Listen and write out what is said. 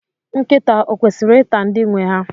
Nkịta o kwesịrị ịta ndị nwe ha.